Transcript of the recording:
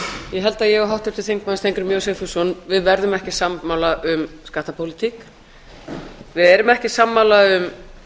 ég held að ég og háttvirtur þingmaður steingrímur j sigfússon við verðum ekki sammála um skattapólitík við erum ekki sammála um